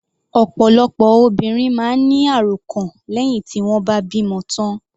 Ọ̀pọ̀lọpọ̀ obìnrin máa ń ní àròkàn lẹ́hìn tí wọ́n bá bímọ tán.